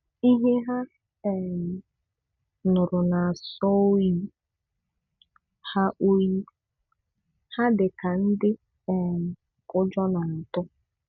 Ihe ha um nụrụ na-asọ oyi, ha oyi, ha dị ka ndị um ụjọ na-atụ.